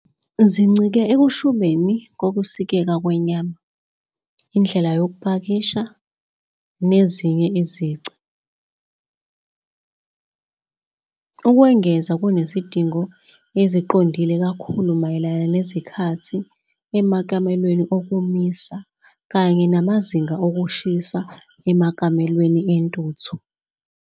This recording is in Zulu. Zincike ekushubeni kokusikeka kwenyama, indlela yokupakisha, nezinye izici. Ukwengeza kunezidingo eziqondile kakhulu mayelana nezikhathi emakamelweni okomisa kanye namazinga okushisa emakamelweni entuthu.